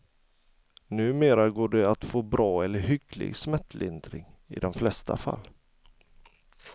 Numera går det att få bra eller hygglig smärtlindring i de flesta fall.